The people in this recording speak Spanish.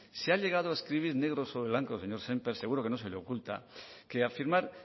se ha llegado a escribir negro sobre blanco señor semper seguro que no se le oculta que afirmar